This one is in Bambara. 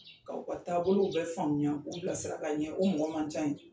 Ka u ka taabolo bɛɛ faamuya k'u bilasira ka ɲɛ o mɔgɔ man can ye dɛ.